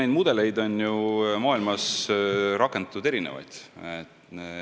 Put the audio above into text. Neid mudeleid on maailmas rakendatud erinevaid.